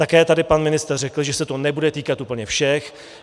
Také tady pan ministr řekl, že se to nebude týkat úplně všech.